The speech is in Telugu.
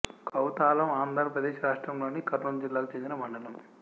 కౌతాలం ఆంధ్ర ప్రదేశ్ రాష్ట్రములోని కర్నూలు జిల్లాకు చెందిన మండలం